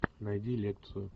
найди лекцию